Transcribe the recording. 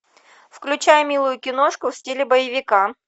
включай милую киношку в стиле боевика